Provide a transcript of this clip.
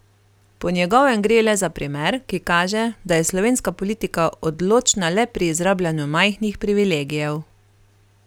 Po njegovem gre le za primer, ki kaže, da je slovenska politika odločna le pri izrabljanju majhnih privilegijev.